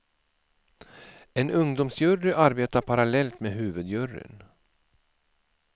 En ungdomsjury arbetar parallellt med huvudjuryn.